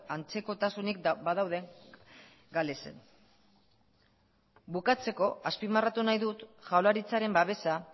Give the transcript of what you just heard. antzekotasunik badaude galesen bukatzeko azpimarratu nahi dut jaurlaritzaren babesa